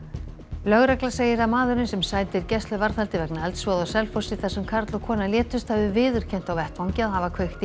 lögregla segir að maðurinn sem sætir gæsluvarðhaldi vegna eldsvoða á Selfossi þar sem karl og kona létust hafi viðurkennt á vettvangi að hafa kveikt í